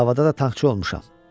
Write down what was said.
Davada da topçu olmuşam.